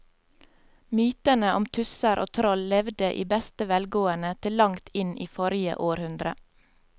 Mytene om tusser og troll levde i beste velgående til langt inn i forrige århundre.